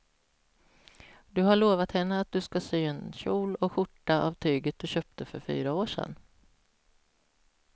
Du har lovat henne att du ska sy en kjol och skjorta av tyget du köpte för fyra år sedan.